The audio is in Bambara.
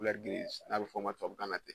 n'a bɛ fɔ a ma tubabukan na ten